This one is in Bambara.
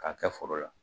K'a kɛ foro la